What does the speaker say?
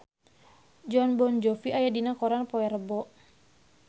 Jon Bon Jovi aya dina koran poe Rebo